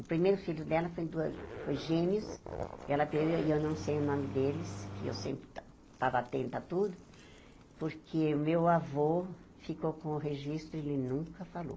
O primeiro filho dela foi dua foi gêmeos, ela perde e eu não sei o nome deles, que eu sempre estava atenta a tudo, porque o meu avô ficou com o registro e ele nunca falou.